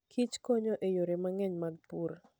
Kich konyo e yore mang'eny mag pur.